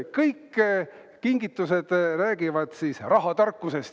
Kõik kingitused räägivad rahatarkusest.